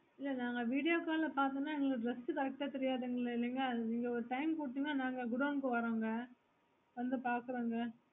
இல்ல நாங்க video call ல பாத்தோன எங்களுக்கு dress correct ஆஹ் தெரியாதுங்களே இல்லிங்களா நீங்க ஒரு time குடுத்திங்கனா நாங்க godown கு வறோம்ங்க வந்து பகிறோம்ங்க